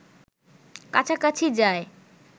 কাছাকাছি যায়